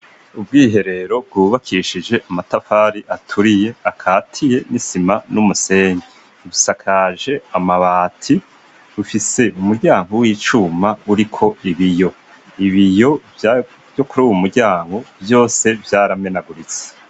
Ubwiherero bwubakishije amatafari aturiye akatiye n'isima n'umusenyi, busakaje amabati, bufise umuryango w'icuma uriko ibiyo, ibiyo vyo kuri uwo muryango vyose vyaramenaguritse.